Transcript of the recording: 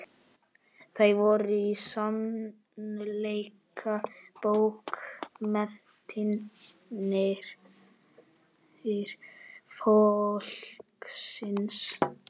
Þær voru í sannleika bókmenntir fólksins.